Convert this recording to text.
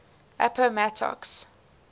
appomattox